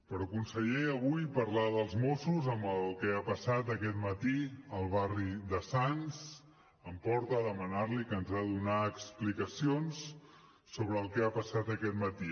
però conseller avui parlar dels mossos amb el que ha passat aquest matí al barri de sants em porta a demanar li que ens ha de donar explicacions sobre el que ha passat aquest matí